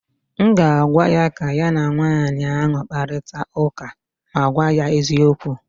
m ga-agwa ya ka ya na nwanyị ahụ kparịta ụka ma gwa ya eziokwu